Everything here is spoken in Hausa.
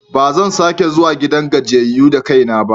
Ba zan sake zuwa gidan gajiyayyu da kai ba.